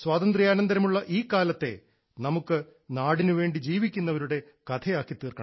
സ്വാതന്ത്ര്യാനന്തരമുള്ള ഈ കാലത്തെ നമുക്ക് നാടിന് വേണ്ടി ജീവിക്കുന്നവരുടെ കഥയാക്കിത്തീർക്കണം